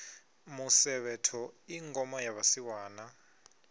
musevhetho i ngoma ya vhasiwana